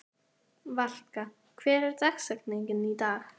Valka, hver er dagsetningin í dag?